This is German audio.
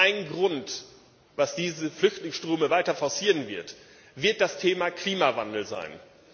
Und ein Grund, der diese Flüchtlingsströme weiter forcieren wird, wird das Thema Klimawandel sein.